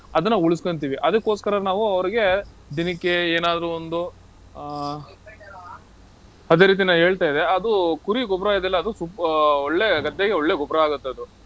ಅದನ್ನ ಉಳಿಸ್ಕಂತೀವಿ. ಅದಕ್ಕೋಸ್ಕರ ನಾವು ಅವ್ರಿಗೆ ದಿನಕ್ಕೆ ಏನಾದ್ರೂ ಒಂದು ಆಹ್ ಅದೇ ರೀತಿ ನಾ ಹೇಳ್ತಾ ಇದ್ದೆ, ಅದು ಕುರಿ ಗೊಬ್ರ ಇದೆಯಲ್ಲಾ ಅದು ಆಹ್ ಒಳ್ಳೆ ಗದ್ದೆಗೆ ಒಳ್ಳೆ ಗೊಬ್ರ ಆಗತ್ತದು.